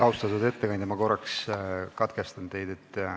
Austatud ettekandja, ma korraks katkestan teid.